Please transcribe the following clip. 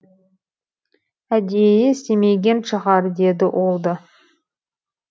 әдейі істемеген шығар деді ол да